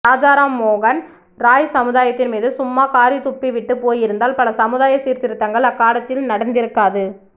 ராஜா ராம் மோகன் ராய் சமுதாயத்தின் மீது சும்மா காறித்துப்பி விட்டுப் போயிருந்தால் பல சமுதாய சீர்திருத்தங்கள் அக்காலத்தில் நடந்திருக்காது